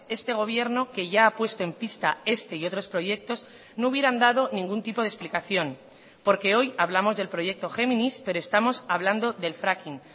este gobierno que ya ha puesto en pista este y otros proyectos no hubieran dado ningún tipo de explicación porque hoy hablamos del proyecto géminis pero estamos hablando del fracking